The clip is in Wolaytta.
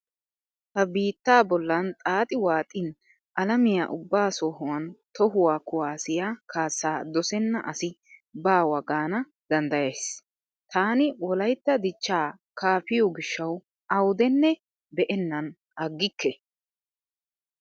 Ha biittaa bollan xaaxi waaxin alamiya ubba sohan tohuwa kuwaassiya kaassaa dosenna asai baawa gaana danddayays. Taani wolaytta dichchaa kaafiyo gishshawu awudenne be'ennan aggikke.